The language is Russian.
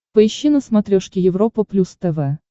поищи на смотрешке европа плюс тв